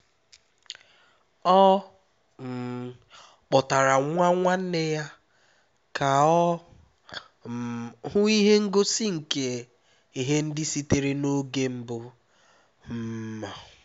ọ um kpọtara nwa nwanne ya ka ọ um hụ ihe ngosi nke ihe ndị sitere n'oge mbụ um